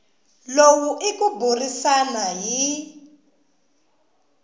lowu i ku burisana hi